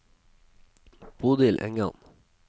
Bodil Engan